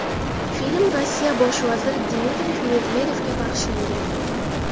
Film Rossiya bosh vaziri Dmitriy Medvedevga bag‘ishlangan.